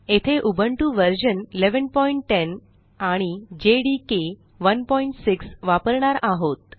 येथे Ubuntu version 1110 आणि Java development environment JDK 16 वापरणार आहोत